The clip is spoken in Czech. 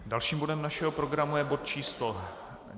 Dalším bodem našeho programu je bod číslo